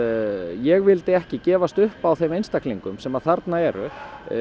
ég vildi ekki gefast upp á þeim einstaklingum sem að þarna eru